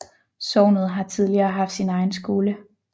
Sognet har tidligere haft sin egen skole